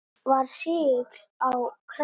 Var segull á krakka.